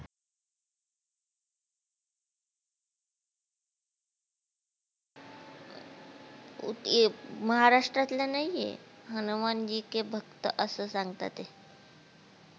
ओ हे महाराष्ट्रला नाही, हे हनुमानजी के भक्त असं सांगता ते.